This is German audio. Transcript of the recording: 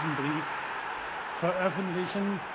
Ich werde diesen Brief veröffentlichen.